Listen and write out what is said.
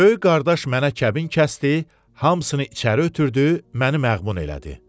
Böyük qardaş mənə kəbin kəsdi, hamısını içəri ötürdü, məni məğmun elədi.